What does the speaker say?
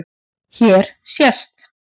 Hér sést